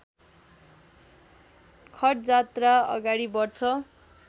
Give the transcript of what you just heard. खटजात्रा अगाडि बढ्छ